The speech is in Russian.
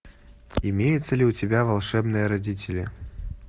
имеется ли у тебя волшебные родители